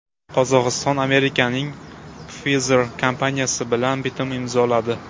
Qozog‘iston Amerikaning Pfizer kompaniyasi bilan bitim imzoladi.